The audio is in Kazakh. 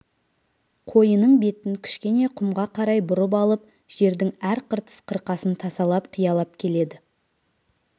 қойының бетін кішкене құмға қарай бұрып алып жердің әр қыртыс қырқасын тасалап қиялап келеді